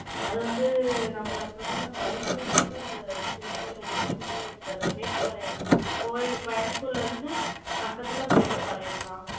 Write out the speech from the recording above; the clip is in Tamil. அதை வந்து, நம்ம பிரதமர் நரேந்திர மோடிதான், அந்த சிவன் கோவில open பண்ணியே வச்சாரு. மேட்டுப்பாளையம் கோயில், கோயம்புத்தூர்ல இருந்து, பக்கத்துல மேட்டுப்பாளையம்தான்.